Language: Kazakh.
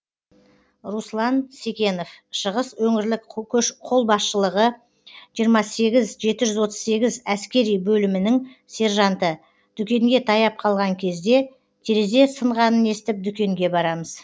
руслан секенов шығыс өңірлік қолбасшылығы жиырма сегіз жеті жүз отыз сегіз әскери бөлімінің сержанты дүкенге таяп қалған кезде терезе сынғанын естіп дүкенге барамыз